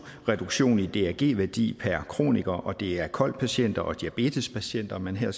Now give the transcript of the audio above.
reduktion i drg værdi per kroniker og det er kol patienter og diabetespatienter man her